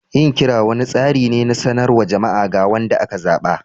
Yin kira wani tsari ne na sanarwar jama'a ga wanda aka zaba.